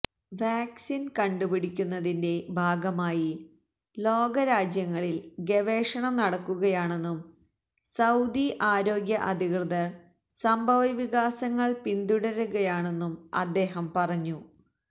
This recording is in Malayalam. വാക്സിന് കണ്ടുപിടിക്കുന്നതിന്റെ ഭാഗമായി ലോകരാജ്യങ്ങളില് ഗവേഷണം നടക്കുകയാണെന്നും സൌദി ആരോഗ്യ അധികൃതര് സംഭവവികാസങ്ങള് പിന്തുടരുകയാണെന്നും അദ്ദേഹം പറഞ്ഞു